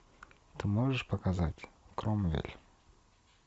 ты можешь показать кромвель